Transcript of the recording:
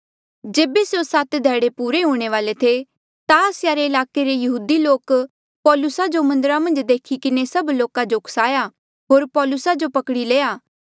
जेबे स्यों सात ध्याड़े पुरे हूंणे ई वाले थे ता आसिया रे ईलाके रे यहूदी लोक पौलुसा जो मन्दरा मन्झ देखी किन्हें सभ लोका जो उकसाया होर पौलुसा जो पकड़ी लया